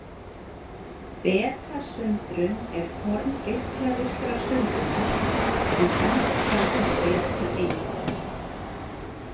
Betasundrun er form geislavirkar sundrunar, sem sendir frá sér betaeind.